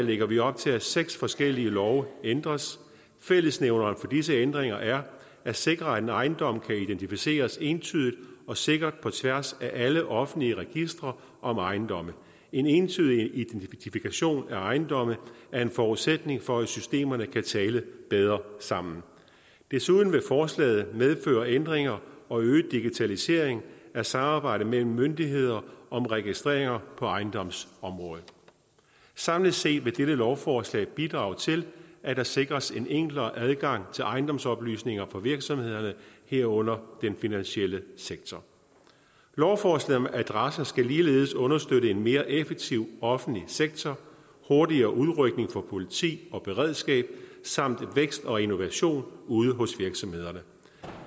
lægger vi op til at seks forskellige love ændres fællesnævneren for disse ændringer er at sikre at en ejendom kan identificeres entydigt og sikkert på tværs af alle offentlige registre om ejendomme en entydig identifikation af ejendomme er en forudsætning for at systemerne kan tale bedre sammen desuden vil forslaget medføre ændringer og øget digitalisering af samarbejdet mellem myndigheder om registreringer på ejendomsområdet samlet set vil dette lovforslag bidrage til at der sikres en enklere adgang til ejendomsoplysninger for virksomhederne herunder den finansielle sektor lovforslaget om adresser skal ligeledes understøtte en mere effektiv offentlig sektor hurtigere udrykning for politi og beredskab samt vækst og innovation ude hos virksomhederne